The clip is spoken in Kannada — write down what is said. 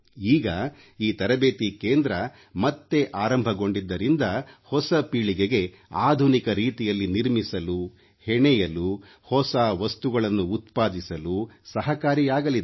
ಈಗ ಈ ತರಬೇತಿ ಕೇಂದ್ರ ಮತ್ತೆ ಆರಂಭಗೊಂಡಿದ್ದರಿಂದ ಹೊಸ ಪೀಳಿಗೆಗೆ ಆಧುನಿಕ ರೀತಿಯಲ್ಲಿ ನಿರ್ಮಿಸಲು ಹೆಣೆಯಲು ಹೊಸ ವಸ್ತುಗಳನ್ನು ಉತ್ಪಾದಿಸಲು ಸಹಾಯಕಾರಿಯಾಗಲಿದೆ